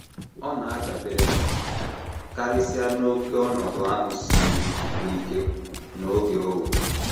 Ọ na - adabere karịsịa n’ókè ọnọdụ ahụ siruru n’ike na oge o were.